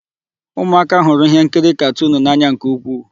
Ụmụaka hụrụ íhénkiri katunu n'anya nke ukwuu.